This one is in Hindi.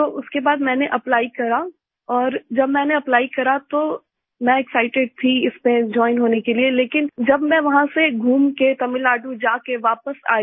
तो उसके बाद मैंने एप्ली करा और जब मैंने एप्ली करा तो मैं एक्साइटेड थी इससे जोइन होने के लिए लेकिन जब वहाँ से घूम के तमिलनाडु जा के वापस आई